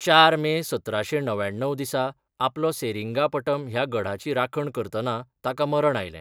चार मे सतराशें णव्याण्णव दिसा आपलो सेरिंगापटम ह्या गढाची राखण करतना ताका मरण आयलें.